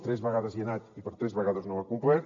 tres vegades hi ha anat i per tres vegades no ho ha complert